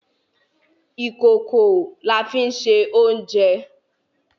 Ìkòkò la fí ń se oúnjẹ